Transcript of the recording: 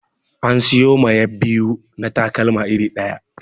An siyo ma 'yab biyu na takalma iri ɗaya